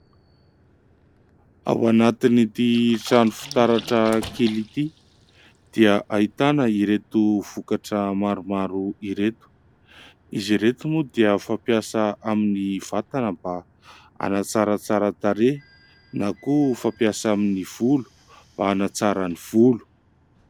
Ao anatin'ity trano fitaratra kely ity dia ahitana ireto vokatra maromaro ireto. Izy ireto moa dia fampiasa amin'ny vatana mba hanatsaratsara tarehy na koa fampiasa amin'ny volo mba hanatsara ny volo.